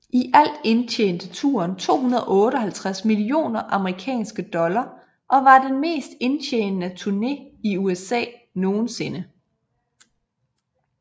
I alt indtjente turen 258 millioner amerikanske dollar og var den mest indtjenende turné i USA nogensinde